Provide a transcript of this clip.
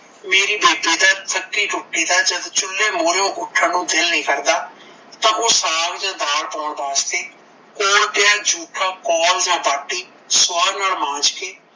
ਮੇਰੀ ਬੇਟੀ ਦਾ ਜਦੋਂ ਥੱਕੀ ਟੁੱਟੀ ਦਾ ਜਦੋਂ ਚੁੱਲ੍ਹੇ ਮੁਹਰਿਓ ਉੱਠਣ ਦਾ ਦਿਲ ਨਹੀਂ ਕਰਦਾ ਤਾਂ ਓਹ ਸਾਗ ਜਾਣ ਦਾਲ ਪਾਉਣ ਵਾਸਤੇ ਕੋਲ ਪਿਆ ਜੂਠਾ ਕੌਲ ਜਾਣ ਬਾਟੀ ਸਵਾਹ ਨਾਲਲ ਮਾਂਜ ਕੇ